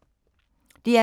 DR K